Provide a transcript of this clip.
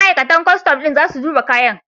Ma'aikatan kwastam ɗin za su duba kayan.